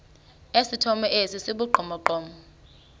esithomo esi sibugqomogqomo